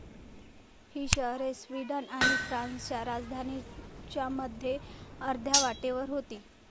ही शहरे स्वीडन आणि फ्रान्सच्या राजधानींच्या मध्ये अर्ध्या वाटेवर होती.